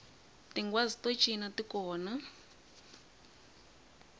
tinghwazi to cina ti kona